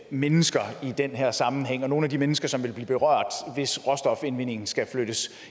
mennesker i den her sammenhæng altså nogle af de mennesker som vil blive berørt hvis råstofindvindingen skal flyttes